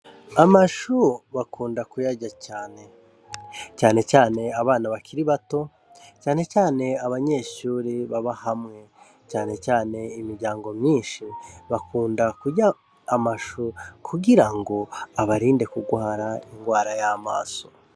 Amashu bakunda kuyarya cane, cane cane abana bakiri bato, cane cane abanyeshure baba hamwe, cane cane imiryango myinshi bakunda kurya amashu kugira abarinde kugwara ingwara y'amaso.